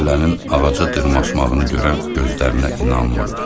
Dələnin ağaca dırmaşmağını görən gözlərinə inanmırdı.